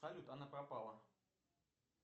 салют она пропала